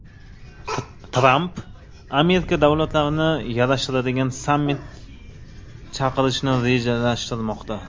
Tramp arab davlatlarini yarashtiradigan sammit chaqirishni rejalashtirmoqda.